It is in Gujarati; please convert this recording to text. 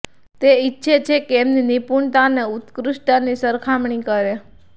તે ઈચ્છે છે કે એમની નિપુણતા અને ઉત્કૃષ્ટતાની સરખામણી કરે